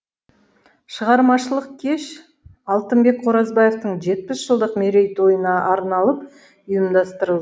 шығармашылық кеш алтынбек қоразбаевтың жетпіс жылдық мерейтойына арналып ұйымдастырыл